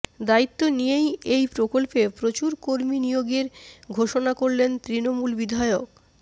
দায়িত্ব নিয়েই এই প্রকল্পে প্রচুর কর্মী নিয়োগের ঘোষণা করলেন তৃণমূল বিধায়ক